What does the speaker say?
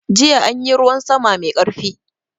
Jiya anyi ruwan sama mai karfi.